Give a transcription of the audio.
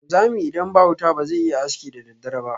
Wanzami idan ba wuta bazai iyayin aski da daddare ba.